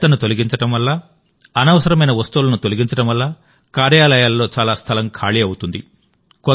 చెత్తను తొలగించడం వల్ల అనవసరమైన వస్తువులను తొలగించడం వల్ల కార్యాలయాలలో చాలా స్థలంఖాళీ అవుతుంది